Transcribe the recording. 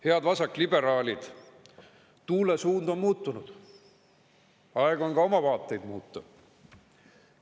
Head vasakliberaalid, tuule suund on muutunud, aeg on ka oma vaateid muuta.